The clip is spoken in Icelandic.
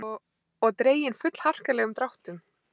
Og dregin fullharkalegum dráttum.